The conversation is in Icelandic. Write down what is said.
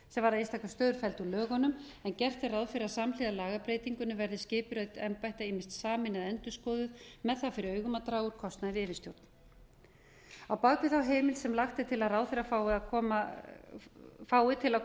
varða einstöku stöður felld úr lögunum en gert er ráð fyrir að samhliða lagabreytingunni verði skipurit embætta ýmist sameinuð eða endurskoðuð með það fyrir augum að draga úr kostnaði við yfirstjórn á bak við heimildina sem lagt er til að ráðherra fái til að